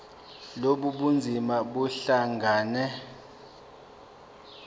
lobu bunzima buhlangane